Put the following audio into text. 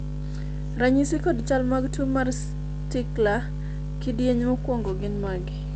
ranyisi kod chal mag tuo mar Stickler kidieny mokwongo gin mage?